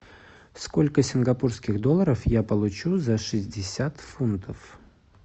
сколько сингапурских долларов я получу за шестьдесят фунтов